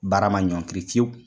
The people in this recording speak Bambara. Baara ma ɲɔkiri fiyewu